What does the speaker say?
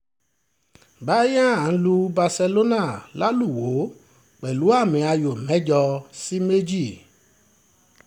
bayern lu barcelona lálùwò pẹ̀lú àmì-ayò mẹ́jọ sí méjì